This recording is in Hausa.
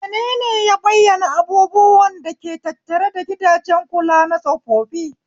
Menene ya bayyana abubuwan da ke tattare da gidajen kula na tsofaffi?